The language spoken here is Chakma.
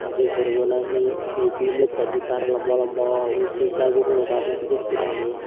je hurobo nahi pijedi lech sani tar lamba lamba ui je jarbo huro tanney sedekke huro.